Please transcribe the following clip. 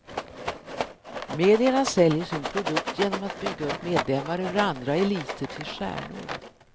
Medierna säljer sin produkt genom att bygga upp medlemmar ur andra eliter till stjärnor.